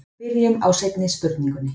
byrjum á seinni spurningunni